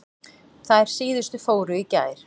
Þær síðustu fóru í gær.